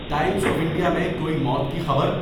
Times of India میں کوئی موت کی خبر؟